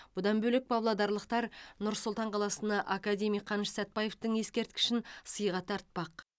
бұдан бөлек павлодарлықтар нұр сұлтан қаласына академик қаныш сәтбаевтың ескерткішін сыйға тартпақ